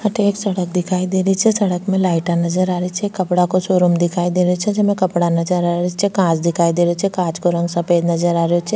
अठे एक सड़क दिखाई दे रही छे सड़क में लाइटा नजर आ रही छे कपडा को सो रूम दिखाई दे रो छे जेमे कपडा नजर आ रही छे कांच दिखाई दे रो छे कांच को रंग सफ़ेद नजर आ रो छे।